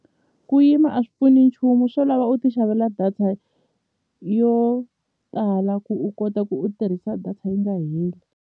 Ku yima a swi pfuni nchumu swo lava u ti xavela data yo tala ku u kota ku u tirhisa data yi nga heli.